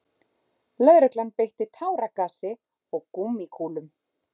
Lögregla beitti táragasi og gúmmíkúlum